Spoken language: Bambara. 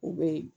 U bɛ yen